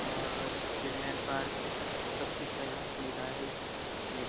और children park सब चीज़ का यहाँ सुविधा है । इस पैलेस --